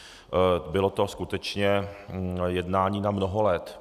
Bylo to skutečně jednání na mnoho let.